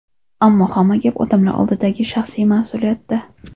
Ammo hamma gap odamlar oldidagi shaxsiy mas’uliyatda.